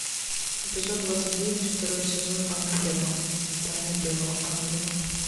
эпизод двадцать девять второй сезон анна герман тайна белого ангела